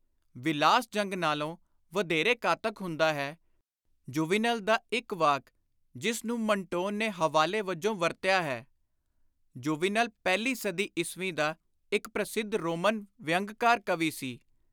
ਵਿਲਾਸ ਜੰਗ ਨਾਲੋਂ ਵਧੇਰੇ ਘਾਤਕ ਹੁੰਦਾ ਹੈ।(ਜੂਵੀਨਲ ਦਾ ਇਕ ਵਾਕ ਜਿਸ ਨੂੰ ਮਨਟੋਨ ਨੇ ਹਵਾਲੇ ਵਜੋਂ ਵਰਤਿਆ ਹੈ। ਜੂਵੀਨਲ-ਪਹਿਲੀ ਸਦੀ ਈਸਵੀ ਦਾ ਇਕ ਪ੍ਰਸਿੱਧ ਰੋਮਨ ਵਿਅੰਗਕਾਰ ਕਵੀ ਸੀ।)